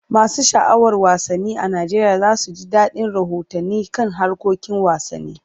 Masu sha'awar wasanni a Najeriya za su ji dadin rahotanni kan harkokin wasanni.